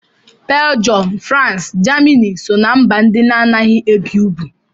Belgium, France, Germany so ná mba ndị anaghị ebi ugwu